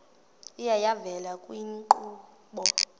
iye yavela kwiinkqubo